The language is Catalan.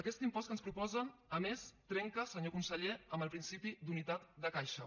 aquest impost que ens proposen a més trenca senyor conseller amb el principi d’unitat de caixa